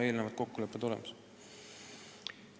Eelnevad kokkulepped peavad olema sõlmitud.